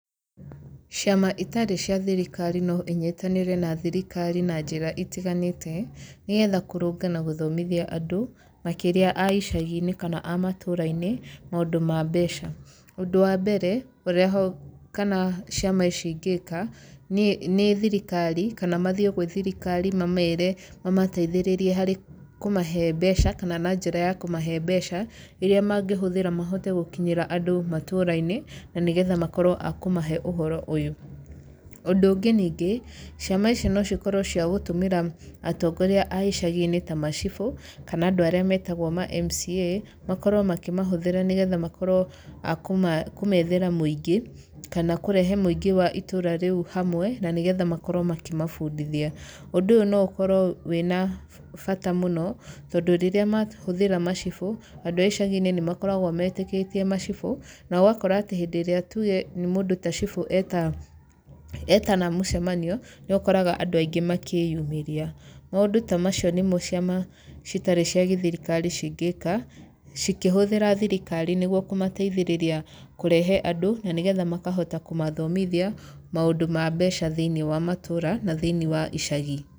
Ciama itarĩ cia thirikari no inyitanĩre na thirikari na njĩra itiganĩte, nĩgetha kũrũnga na gũthomithia andũ, makĩria a icagi-inĩ kaana a matũũra-inĩ, maũndũ ma mbeca. Ũndũ wa mbere ũrĩa kana ciama ici ingĩka, nĩ nĩ thirikari, kana mathiĩ gwĩ thirikari mamere mamateithĩrĩrie harĩ kũmahe mbeca, kana na njĩra ya kũmahe mbeca, irĩa mangĩhũthĩra mahote gũkinyĩra andũ matũũra-inĩ, na nĩgetha makorwo a kũmahe ũhoro ũyũ. Ũndũ ũngĩ ningĩ, ciama ici no cikorwo cia gũtũmĩra atongoria a icagi-inĩ ta macibũ, kana andũ arĩa metagwo maMCA, makorwo makĩmahũthĩra nĩgetha makorwo a kũmethera mũingĩ, kana kũrehe mũingĩ wa itũũra rĩu hamwe, na nĩgetha makorwo makĩbundithia. Ũndũ ũyũ no ũkorwo wĩna bata mũno, tondũ rĩrĩa mahũthĩra macibũ, andũ a icagi-inĩ nĩ makoragwo metĩkĩtie macibũ, na ũgakora atĩ hĩndĩ ĩrĩa tuge nĩ mũndũ ta cibũ eta etana mũcemanio, nĩ ũkoraga andũ aingĩ makĩyumĩria. Maũndũ ta macio nĩmo ciama citarĩ cia gĩthirikari cingĩka, cikĩhũthĩra thirikari nĩguo kũmateithĩrĩa kũrehe andũ, na nĩgetha makahota kũmathomithia, maũndũ ma mbeca thĩiniĩ wa matũũra, na thĩiniĩ wa icagi.